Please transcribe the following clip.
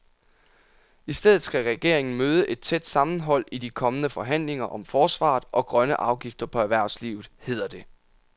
I stedet skal regeringen møde et tæt sammenhold i de kommende forhandlinger om forsvaret og grønne afgifter på erhvervslivet, hedder det.